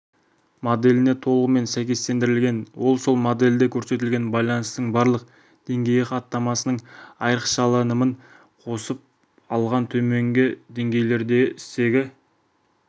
моделіне толығымен сәйкестендірілген ол сол модельде көрсетілген байланыстың барлық деңгейі хаттамасының айрықшаланымын қосып алған төменгі деңгейлерде стегі